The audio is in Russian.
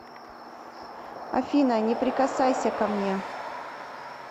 афина не прикасайся ко мне